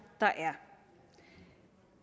der er